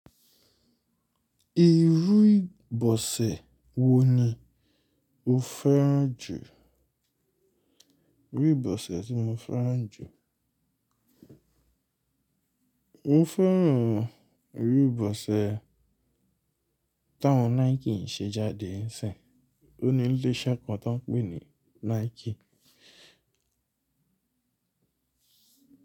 Irú ìbọ̀sẹ̀ wo ni o fẹ́ràn jù? Irú ìbọ̀sẹ̀ tí mo fẹ́ràn jù. Mo fẹ́ràn irú ìbọ̀sẹ̀ táwọn Nike ń ṣe jáde sí. Ó ní ilé iṣẹ́ kan tá ń pè ní Nike.